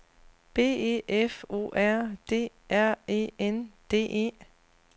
B E F O R D R E N D E